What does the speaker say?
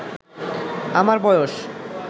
আমার বয়স